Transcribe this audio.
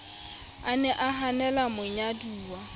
a ne a hanela monyaduwa